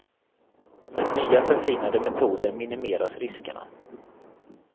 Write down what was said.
Med nya förfinade metoder minimeras riskerna.